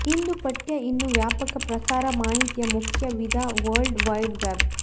ಇಂದು ಪಠ್ಯ ಇನ್ನೂ ವ್ಯಾಪಕ ಪ್ರಸಾರ ಮಾಹಿತಿಯ ಮುಖ್ಯ ವಿಧ ವರ್ಲ್ಡ್ ವೈಡ್ ವೆಬ್